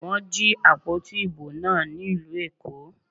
Wọ́n jí àpótí ìbò náà ní ìlú Èkó.